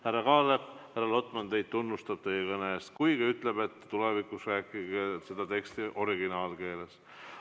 Härra Kaalep, härra Lotman tunnustab teid teie kõne eest, kuigi ütleb, et tulevikus rääkige seda teksti originaalkeeles.